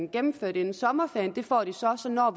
gennemført inden sommerferien det får de så så når